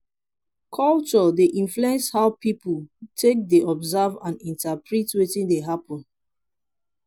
culture dey influence how pipo take dey observe and interprete wetin dey happen